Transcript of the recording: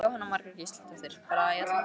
Jóhanna Margrét Gísladóttir: Bara í allan dag?